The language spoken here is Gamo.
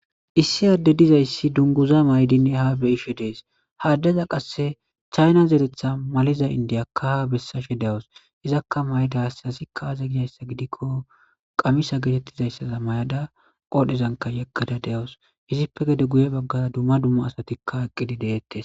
Issi aadde dizayssi dunguza maydinne ha beyishe dees haaddaza qasse chayna zeretha maliza indiyakka ha bessashe de'awus izakka mayda hassasi kaaze giyayssa gidikko qamisa getettizayssaza may'ada qoodhezanka yaggada de'awus hizippe gede guye baggaza dumma dumma asatikka eqqidi deettes.